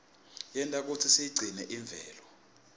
yenta kutsi siyigcine imvelo